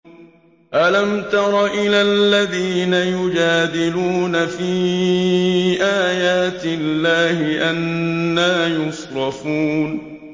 أَلَمْ تَرَ إِلَى الَّذِينَ يُجَادِلُونَ فِي آيَاتِ اللَّهِ أَنَّىٰ يُصْرَفُونَ